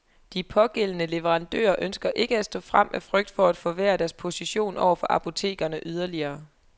De pågældende leverandører ønsker ikke at stå frem af frygt for at forværre deres position over for apotekerne yderligere.